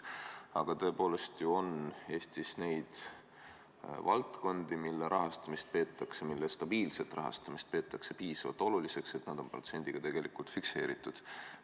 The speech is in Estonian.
Aga tegelikult on ju Eestis neid valdkondi, mille stabiilset rahastamist peetakse piisavalt oluliseks, mistõttu on nende rahastamise protsent fikseeritud.